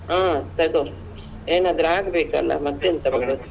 ಹ್ಮ್ ತೊಗೊ ಏನಾದ್ರು ಆಗ್ಬೇಕಲ್ಲ ಮತ್ತೆಂತ ಮಾಡುದು.